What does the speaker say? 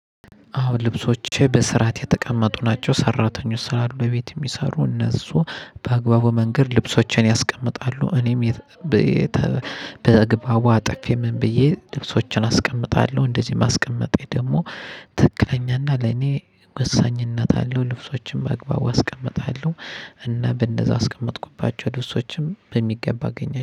አዎ ልብሶቼ በስራት የተቀመጡ ናቸው ሰራተኞች ስላሉ አሉ ቤት የሚሰሩ እነሱ በአግባቡ መንገድ ልብሶችን ያስቀምጣሉ። እኔም በ በአግባቡ አጠፌ ምን ብዬ ልብሶችን አስቀምጣለሁ እንደዚህ የማስቀምጤ ደግሞ ትክክኛ እና ለኔ ወሳኝነት አለው። ልብሶቼን በአግባቡ አስቀምጣለሁ። እና በእነዛ አስቀመጥኩባቸው ልብሶችም በሚገባ አገኘሁ